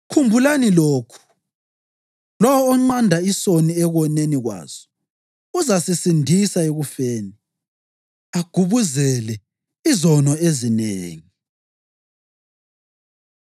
khumbulani lokhu: Lowo onqanda isoni ekoneni kwaso uzasisindisa ekufeni, agubuzele izono ezinengi.